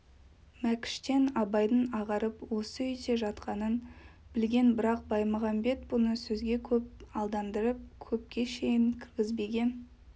мәкіштен абайдың ағарып осы үйде жатқанын білген бірақ баймағамбет бұны сөзге көп алдандырып көпке шейін кіргізбеген